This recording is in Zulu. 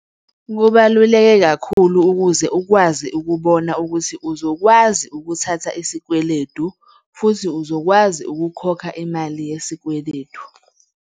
Kubaluleke kakhulu ukuze ukwazi ukubona ukuthi uzokwazi ukuthatha isikweledu futhi uzokwazi ukukhokha imali yesikweledu.